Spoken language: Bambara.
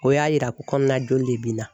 O y'a yira ko kɔnɔna joli de bina